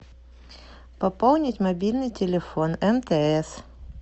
пополнить мобильный телефон мтс